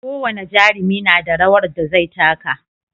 Ko wane jarumi nada rawar da zai taka